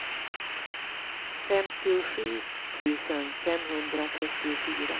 femtiosju tusen femhundratrettiofyra